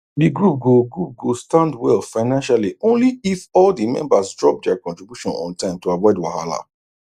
the group go group go stand well financially only if all the members drop their contribution on time to avoid wahala